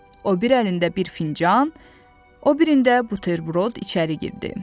O bir əlində bir fincan, o birində buterbrod içəri girdi.